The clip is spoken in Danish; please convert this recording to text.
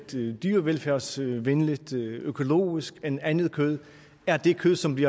dyrevelfærdsvenligt økologisk end andet kød er det kød som vi